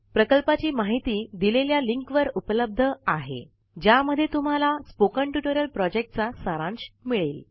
प्रकल्पाची माहिती दिलेल्या लिंकवर उपलब्ध आहेज्यामध्ये तुम्हाला स्पोकन टयूटोरिअल प्रोजेक्टचा सारांश मिळेल